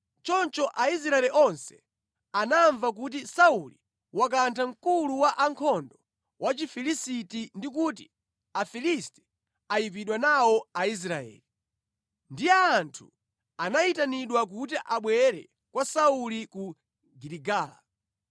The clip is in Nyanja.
Choncho Aisraeli onse anamva kuti Sauli wakantha mkulu wa ankhondo Wachifilisiti ndi kuti Afilisti anayipidwa nawo Aisraeli. Ndiye anthu anayitanidwa kuti abwere kwa Sauli ku Giligala.